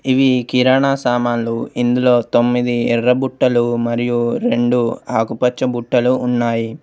ఇవి కిరాణా సామాన్లు. ఇందులో తొమ్మిది ఎర్ర బుట్టలు మరియు రెండు ఆకుపచ్చ బుట్టలు ఉన్నాయి.